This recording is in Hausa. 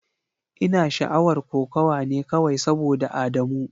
Ina sha'awar kokawa ne kawai saboda Adamu.